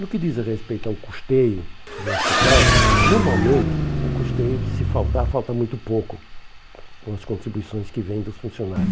No que diz respeito ao custeio do hospital, normalmente o custeio, se faltar, falta muito pouco com as contribuições que vêm dos funcionários.